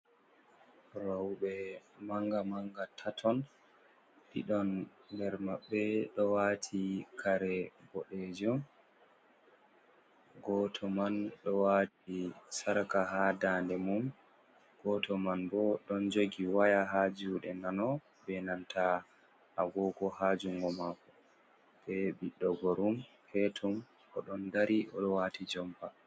Rauɓe manga manga tatton, ɗiɗon nder maɓɓe ɗo wati kare boɗejom, goto man ɗo wati sarka ha daa nde mum, goto man bo ɗon jogi waya ha juɗe nano, be nanta a gogo ha jungo mako be ɓiɗɗo gorum petum, o ɗon dari o ɗo wati jompa.